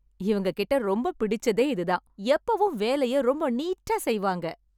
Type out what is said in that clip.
இவங்கக் கிட்ட எனக்கு ரொம்பப் பிடிச்சதே இது தான். எப்போவும் வேலைய ரொம்ப நீட்டா செய்வாங்க.